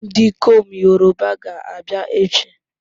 Ndikom Yoruba ga-abia echi